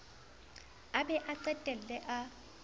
a be a qetelle a